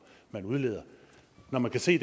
der udledes når man kan se